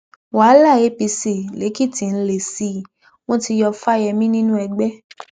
wàhálà apc lèkìtì ń le sí i wọn ti yọ fáyemí nínú ẹgbẹ